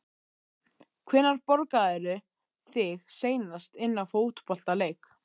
Hvenær borgaðirðu þig seinast inná fótboltaleik?